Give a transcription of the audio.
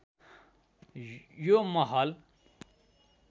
यो महल